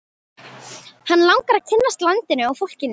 Hann langar að kynnast landinu og fólkinu.